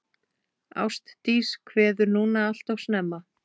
Ástdís kveður núna alltof snemma.